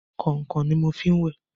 Kọ̀nkọ̀n ni mo fi ń wẹ̀.